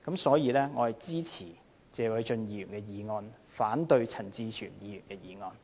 所以，我支持謝偉俊議員的議案，反對陳志全議員的議案。